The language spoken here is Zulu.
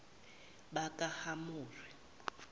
bakahamori